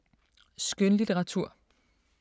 Skønlitteratur